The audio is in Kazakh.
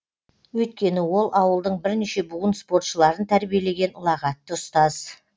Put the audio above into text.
өйткені ол ауылдың бірнеше буын спортшыларын тәрбиелеген ұлағатты ұстаз